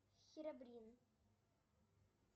херобрин